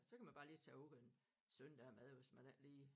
Så kan man bare lige tage her ud en søndag om aftenen hvis man ikke lige